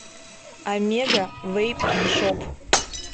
омега вэйп шоп